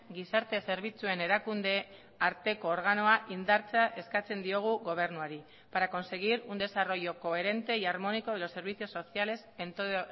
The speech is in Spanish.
gizarte zerbitzuen erakunde arteko organoa indartzea eskatzen diogu gobernuari para conseguir un desarrollo coherente y armónico de los servicios sociales en todo